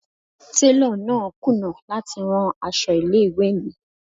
Télọ̀ náà kùnà láti rán aṣọ ilé ìwé mi.